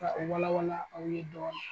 Ka u wala wala aw ye dɔɔni.